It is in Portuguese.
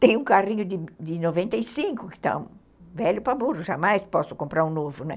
Tem um carrinho de noventa e cinco que está velho para burro, jamais posso comprar um novo, né?